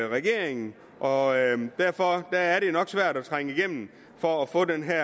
regeringen og derfor er det jo nok svært at trænge igennem for at få det her